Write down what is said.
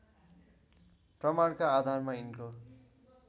प्रमाणका आधारमा यिनको